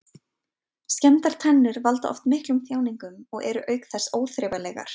Skemmdar tennur valda oft miklum þjáningum og eru auk þess óþrifalegar.